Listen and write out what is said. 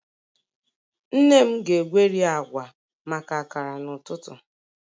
Nne m ga-egweri agwa maka akara n'ụtụtụ